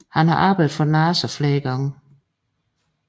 Han har arbejdet for NASA flere gange